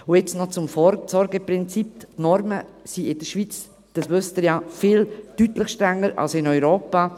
Und jetzt noch zum Vorsorgeprinzip: Die Normen sind in der Schweiz, das wissen Sie ja, deutlich strenger als in Europa.